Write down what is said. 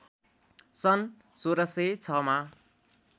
सन् १६०६ मा